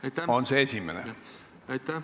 Aitäh!